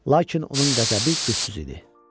Lakin onun qəzəbi gücsüz idi.